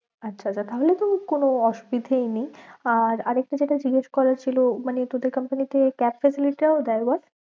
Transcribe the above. আচ্ছা আচ্ছা তাহলে তো কোনো অসুবিধেয়ই নেই আর আর একটা যেটা জিগেশ করার ছিল মানে তোদের company তে cab facility টাও দেয় বল?